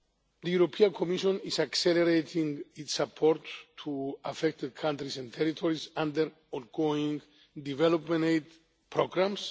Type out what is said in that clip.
The European Commission is accelerating its support to affected countries and territories under ongoing development aid